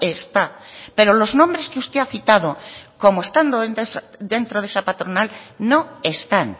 está pero los nombres que usted ha citado como estando dentro de esa patronal no están